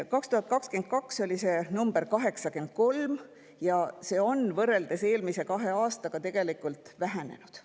2022. aastal oli see 83% ja see on võrreldes eelmise kahe aastaga tegelikult vähenenud.